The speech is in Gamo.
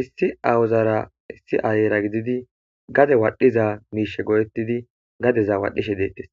issi awuzara issi ayera gididi gade wadhiza miishe go7ettidi gadeza waadhishe deettes